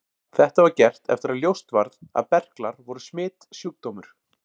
Þetta var gert eftir að ljóst varð að berklar voru smitsjúkdómur.